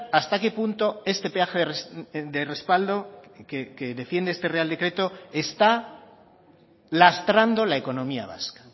hasta qué punto este peaje de respaldo que defiende este real decreto está lastrando la economía vasca